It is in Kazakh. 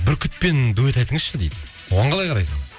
бүркітпен дуэт айтыңызшы дейді оған қалай қарайсың